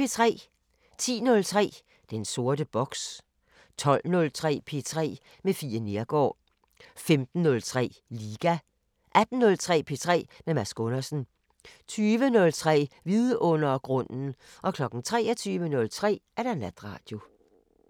10:03: Den sorte boks 12:03: P3 med Fie Neergaard 15:03: Liga 18:03: P3 med Mads Gundersen 20:03: Vidundergrunden 23:03: Natradio